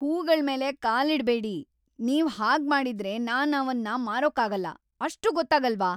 ಹೂಗಳ್ಮೇಲೆ ಕಾಲಿಡ್ಬೇಡಿ! ನೀವ್ ಹಾಗ್ಮಾಡಿದ್ರೆ ನಾನ್‌ ಅವನ್ನ ಮಾರೋಕ್ಕಾಗಲ್ಲ! ಅಷ್ಟೂ ಗೊತ್ತಾಗಲ್ವಾ!